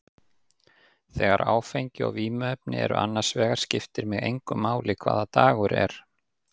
Þegar áfengi og vímuefni eru annars vegar skiptir mig engu máli hvaða dagur er.